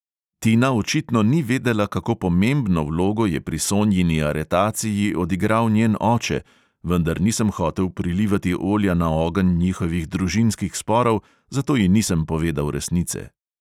Tina očitno ni vedela, kako pomembno vlogo je pri sonjini aretaciji odigral njen oče, vendar nisem hotel prilivati olja na ogenj njihovih družinskih sporov, zato ji nisem povedal resnice.